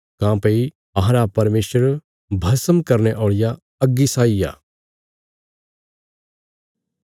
काँह्भई अहांरा परमेशर भस्म करने औल़िया अग्गी साई आ